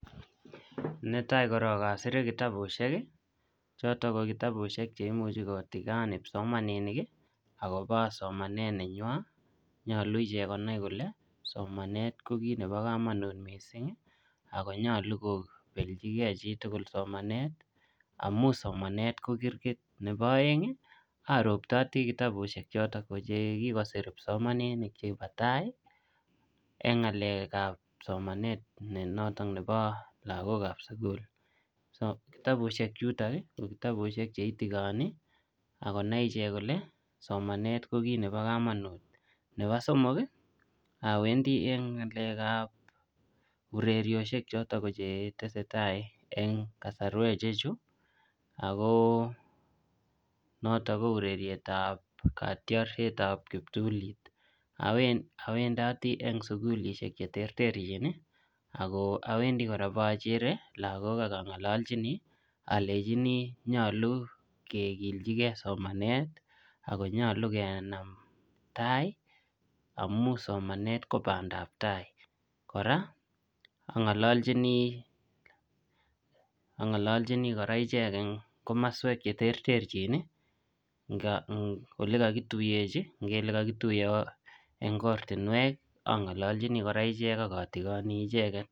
Netai korok asire kitabushek, chotok ko kitabushek che imuchi kotigon kipsomaninik, akobo somanet nenywa. Nyolu ichek konai kole somanet ko kit nebo komonut missing, ako nyolu kobelchikey chitugul somanet, amu somanet ko kirgit. Nebo aeng, aroptoti kitabushek chotok che kikosoman kipsomaninik chebo tai, eng ngalekap somanet ne notok nebo lagokap sukul. Kitabushek chutok, ko kitabushek che itigoni akonai ichek kole somanet ko kit nebo komonut. Nebo somok, awendi eng ngalekap urerioshek, chotok ko che tesetai eng kasarwek che chu. Ako notok ko urerietab katyarsietab kiptulit. Awendati eng sukulishek che terterchin, ago awendi kora ipochere lagok akangalalchini, alejini nyolu kekiljikey somanet, ako nyolu kenam tai, amu somanet ko bandaptai. Kora angalaljini kora ichek eng komaswek che terterchin, eng ole kakituyechi. Ngele kakituye eng ortunwek, angololchini kora ichek akatigoni icheket